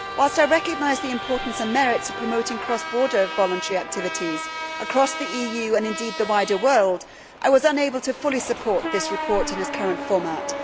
Whilst I recognise the importance and merits of promoting cross border voluntary activities across the EU, and indeed the wider world, I was unable to fully support this report in its current format.